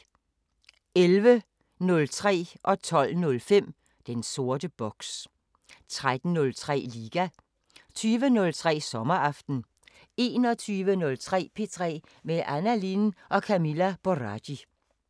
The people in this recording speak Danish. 11:03: Den sorte boks 12:05: Den sorte boks 13:03: Liga 20:03: Sommeraften 21:03: P3 med Anna Lin og Camilla Boraghi